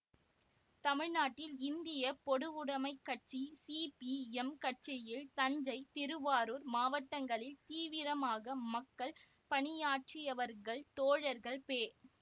தமிழ்நாட்டில் இந்திய பொதுவுடமைக் கட்சி சிபிஎம் கட்சியில் தஞ்சை திருவாரூர் மாவட்டங்களில் தீவிரமாக மக்கள் பணியாற்றியவர்கள் தோழர்கள் பெ